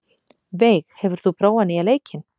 Veig, hefur þú prófað nýja leikinn?